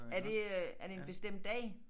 Er det øh er det en bestemt dag?